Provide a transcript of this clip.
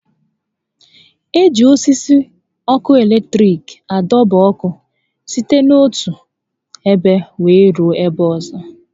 E ji osisi ọkụ latiriki a dọba ọkụ site n'otu ebe wéé rue n'ebe ọzọ